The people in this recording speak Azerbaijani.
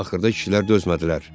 Axırda kişilər dözmədilər.